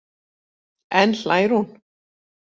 Enn hlær hún.